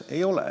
"Ei ole.